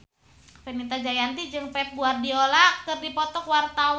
Fenita Jayanti jeung Pep Guardiola keur dipoto ku wartawan